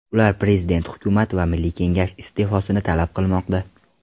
Ular prezident, hukumat va milliy kengash iste’fosini talab qilmoqda.